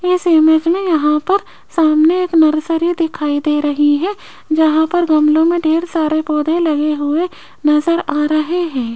इस इमेज में यहां पर सामने एक नर्सरी दिखाई दे रही है जहां पर गमलों में ढेर सारे पौधे लगे हुए नजर आ रहे हैं।